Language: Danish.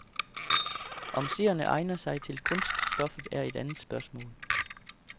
Om seerne egner sig til kunststoffet, er et andet spørgsmål.